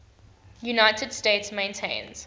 united states maintains